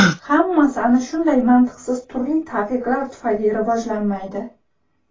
Hammasi ana shunday mantiqsiz turli taqiqlar tufayli rivojlanmaydi.